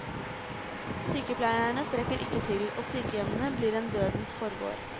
Sykepleierne strekker ikke til, og sykehjemmene blir en dødens forgård.